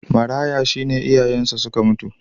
Maraya shi ne iyayensa suka mutu.